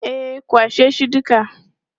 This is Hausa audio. E, kwashe shi duka.